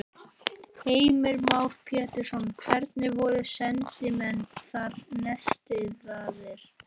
Heimir Már Pétursson: Hvernig voru sendimenn þar nestaðir?